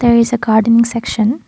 there is a gardening section.